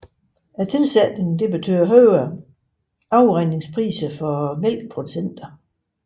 Tilsætningen betød højere afregningspris for mælkeproducenterne